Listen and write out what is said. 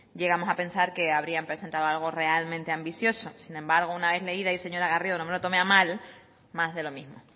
llegamos a pensar que habría presentado algo realmente ambicioso sin embargo una vez leída y señora garrido no me lo tome a mal más de lo mismo